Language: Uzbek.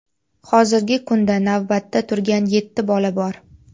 Hozirgi kunda navbatda turgan yetti bola bor.